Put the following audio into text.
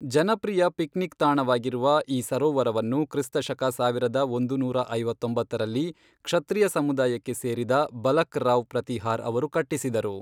ಜನಪ್ರಿಯ ಪಿಕ್ನಿಕ್ ತಾಣವಾಗಿರುವ ಈ ಸರೋವರವನ್ನು ಕ್ರಿಸ್ತ ಶಕ ಸಾವಿರದ ಒಂದುನೂರಾ ಐವತ್ತೊಂಬತ್ತರಲ್ಲಿ, ಕ್ಷತ್ರಿಯ ಸಮುದಾಯಕ್ಕೆ ಸೇರಿದ ಬಲಕ್ ರಾವ್ ಪ್ರತಿಹಾರ್ ಅವರು ಕಟ್ಟಿಸಿದರು.